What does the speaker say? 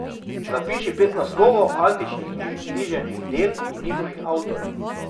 Zapiši pet naslovov antičnih književnih del in njihovih avtorjev.